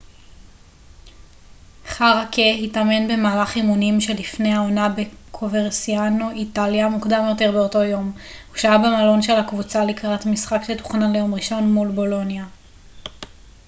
חארקה התאמן במהלך אימונים שלפני העונה בקוברסיאנו איטליה מוקדם יותר באותו יום הוא שהה במלון של הקבוצה לקראת משחק שתוכנן ליום ראשון מול בולוניה